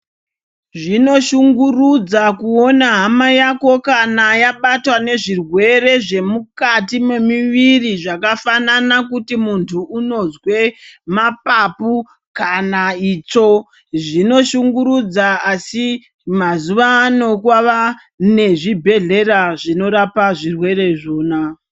Zvinoshungurudza kuona hama yako kana yabatwa nezvirwere zvemukati memiviri zvakafanana kuti muntu unozwe maphapu kana itsvo zvinoshungurudza asi mazuva ano kwava nezvibhehlera zvinorapa zvirwere izvona.